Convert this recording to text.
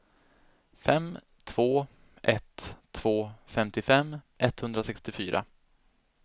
fem två ett två femtiofem etthundrasextiofyra